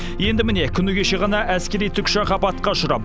енді міне күні кеше ғана әскери тікұшақ апатқа ұшырап